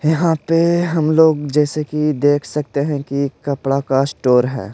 यहाँ पे हम लोग जैसे कि देख सकते हैं कि कपड़ा का स्टोर है।